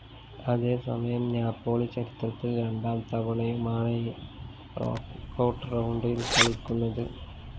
അതേസമയം നാപ്പോളി ചരിത്രത്തില്‍ രണ്ടാം തവണയുമാണ് നോക്കൌട്ട്‌ റൗണ്ടില്‍ കളിക്കുന്നത്